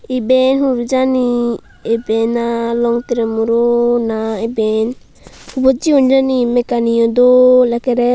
ibey hudu jani ibey na longtrey muro na iben hubot jiyen jani mekkaniyo dol ekkorey.